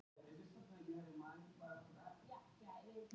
hvert er heimildargildi landnámu